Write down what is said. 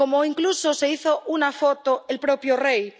Incluso se hizo una foto el propio rey.